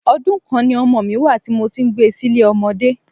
Ọdún kan ni ọmọ mi wá à tí mo ti ń gbé sile ọmọdé.